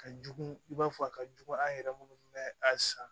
Ka jugu i b'a fɔ a ka jugu an yɛrɛ minnu bɛ a san